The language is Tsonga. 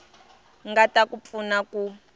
nga ta ku pfuna ku